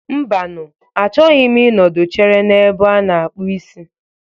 Mbanu, a chọghị m ị nọdụ chere n'ebe a na-akpụ isi